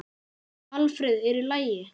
Alfreð, er í lagi?